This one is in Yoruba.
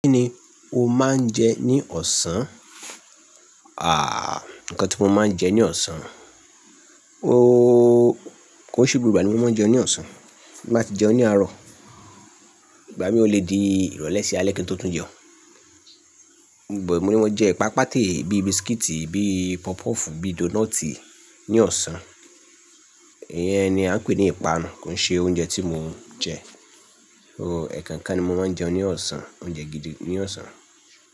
Kí ni o máa ń jẹ ní ọ̀sán? Àh, nǹkan tí mo máa ń jẹ ní ọ̀sán. O, kò i se gbogbo ìgbà ní mo máa ń jẹun ní ọ̀sán. Tinbá ti jẹun ní àárọ̀. Ìgbà mìí ó lè di ìrọ̀lẹ́ sí alẹ́ kí n tó tún jẹun. Ònbọ̀ mo ní wọ́n jẹ ẹ̀pà pàtẹ́ bíi bisikíìtì, bíi pọfupọ́ọ̀fù, bíi dónọ́ọ̀tì ní ọ̀sán. Ìyẹn ni a ń pè ní ìpanu, kò ṣe oúnjẹ tí mo ń jẹ. O, ẹ̀ẹ̀kan kan ni mo máa ń jẹun ní ọ̀sán, oúnjẹ gidi ní ọ̀sán.